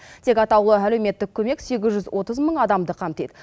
тек атаулы әлеуметтік көмек сегіз жүз отыз мың адамды қамтиды